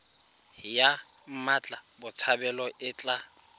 ya mmatla botshabelo e tla